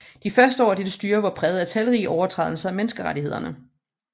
De første år af dette styre var præget af talrige overtrædelser af menneskerettighederne